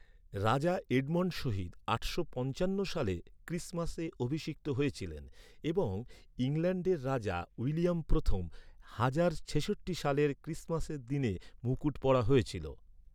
রাজা এডমন্ড শহীদ আটশো পঞ্চান্ন সালে ক্রিসমাসে অভিষিক্ত হয়েছিলেন এবং ইংল্যান্ডের রাজা উইলিয়াম প্রথম এক হাজার ছেষট্টি সালের ক্রিসমাসের দিনে মুকুট পরা হয়েছিল।